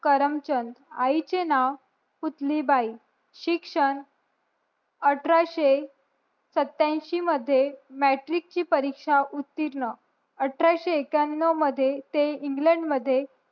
करमचंद आई चे नाव पुतली बाई शिक्षण अठराशे सत्यांशी मध्ये मॅट्रिक ची परीक्षा उत्तीर्ण अठराशे एक्यनव मध्ये ते इंग्लंड मध्ये